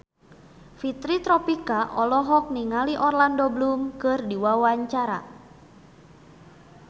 Fitri Tropika olohok ningali Orlando Bloom keur diwawancara